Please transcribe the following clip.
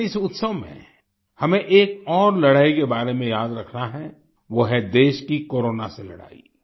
लेकिन इस उत्सव में हमें एक और लड़ाई के बारे में याद रखना है वो है देश की कोरोना से लड़ाई